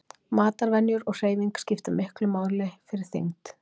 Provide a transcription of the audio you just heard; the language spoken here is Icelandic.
Matarvenjur og hreyfing skipta miklu máli fyrir þyngd.